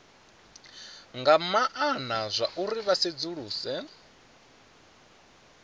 nga maana zwauri vha sedzuluse